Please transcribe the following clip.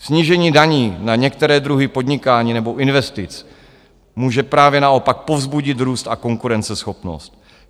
Snížení daní na některé druhy podnikání nebo investic může právě naopak povzbudit růst a konkurenceschopnost.